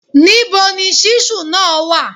Níbo ni ṣíṣù náà wa